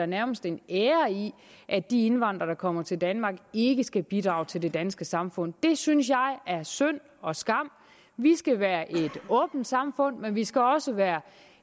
nærmest en ære i at de indvandrere der kommer til danmark ikke skal bidrage til det danske samfund det synes jeg er synd og skam vi skal være et åbent samfund men vi skal også være